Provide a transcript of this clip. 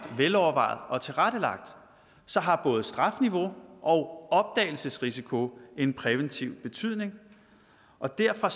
velovervejet og tilrettelagt så har både strafniveau og opdagelsesrisiko en præventiv betydning og derfor